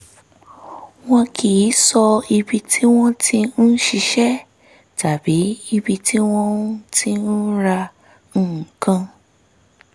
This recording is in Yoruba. wọn kì í sọ ibi tí wọ́n ti ń ṣiṣẹ́ tàbí ibi tí wọ́n ti ń ra nǹkan